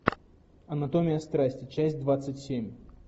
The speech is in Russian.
анатомия страсти часть двадцать семь